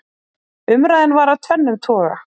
umræðan var af tvennum toga